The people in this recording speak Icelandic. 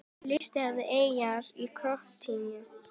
Listi yfir eyjar í Króatíu